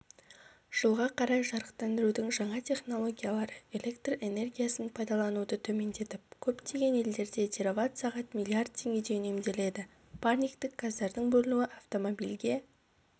жылға қарай жарықтандырудың жаңа технологиялары электр энергиясын пайдалануды төмендетіп көптеген елдерде тераватт-сағат миллиард теңгедей үнемделеді парниктік газдардың бөлінуі автомобильге